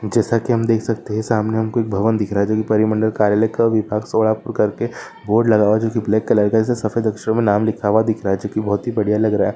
जैसा की हम देख सकते है की सामने हमे भवन दिख रहा है जो की परिमंडल कार्यालय का विभाग सोलापुर करके बोर्ड लगा हुआ है जो की ब्लाक कलर का है जैसे सफ़ेद अक्षरो मे नाम दिख रह है जो की बहुत ही बढ़िया लग रहा है।